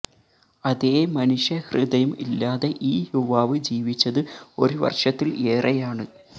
അതേ മനുഷ്യ ഹൃദയം ഇല്ലാതെ ഈ യുവാവ് ജീവിച്ചത് ഒരു വര്ഷത്തില് ഏറെയാണ്